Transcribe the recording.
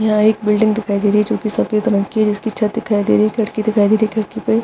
यहाँ एक बिल्डिंग दिखाई दे रही है जो की सफ़ेद रंग की जिसकी छत दिखाई दे रही है खिड़की दिखाई दे रही है खिड़की पे --